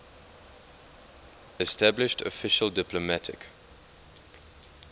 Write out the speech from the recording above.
established official diplomatic